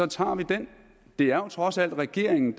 tager vi den det er jo trods alt regeringen